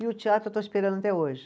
E o teatro eu estou esperando até hoje.